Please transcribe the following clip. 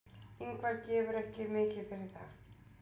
Ingvar gefur ekki mikið fyrir það.